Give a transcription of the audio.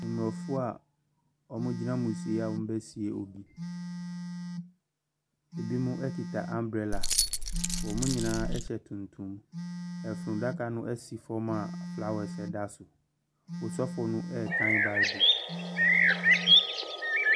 Mmorɔfo a ɔmo gyina amusieyɛ a ɔmo besie obi, ebimo ekita ambrɛla, ɔmo nyinaa ɛhyɛ tuntum. Ɛfun daka no ɛsi fɛm a flawɛs ɛda so. Sɔfo no ɛɛkan baebol.